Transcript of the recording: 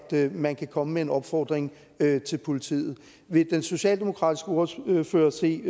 man kan komme med en opfordring til politiet vil den socialdemokratiske ordfører se